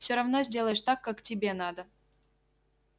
всё равно сделаешь так как тебе надо